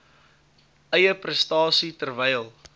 eie prestasie terwyl